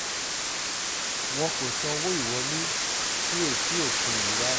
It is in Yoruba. wọn kò sanwó ìwọlé sí etí òkun yìí rárá